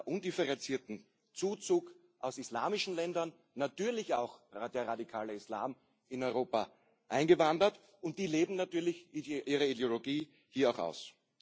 undifferenzierten Zuzug aus islamischen Ländern natürlich auch der radikale Islam in Europa eingewandert, und die leben natürlich ihre Ideologie hier auch aus.